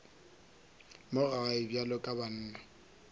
mo gae bjalo ka banna